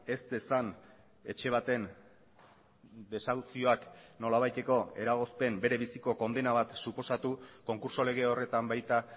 ez dezan etxe baten desauzioak nolabaiteko eragozpen bere biziko kondena bat suposatu konkurtso lege horretan baita